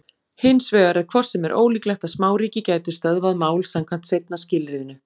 Hins vegar er hvort sem er ólíklegt að smáríki gætu stöðvað mál samkvæmt seinna skilyrðinu.